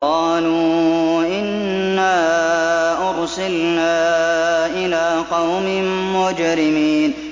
قَالُوا إِنَّا أُرْسِلْنَا إِلَىٰ قَوْمٍ مُّجْرِمِينَ